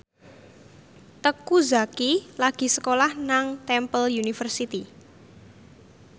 Teuku Zacky lagi sekolah nang Temple University